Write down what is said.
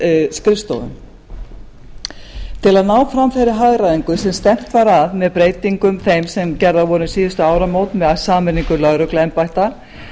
skrifstofuna til að ná fram þeirri hagræðingu sem stefnt var að með breytingum þeim sem gerðar voru um síðustu áramót með sameiningu lögregluembætta